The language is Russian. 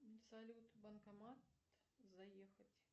салют банкомат заехать